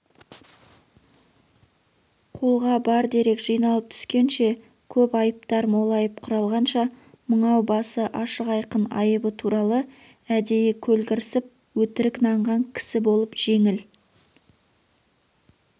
қолғабардерек жиналып түскенше көп айыптар молайып құралғанша мыңау басы ашық айқын айыбы туралы әдейі көлгірсіп өтірік нанған кісі болып жеңіл